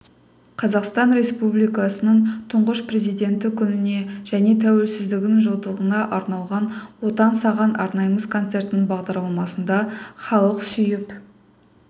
қазақстан республикасының тұңғыш президенті күніне және тәуелсіздігінің жылдығына арналған отан саған арнаймыз концертінің бағдарламасында халық сүйіп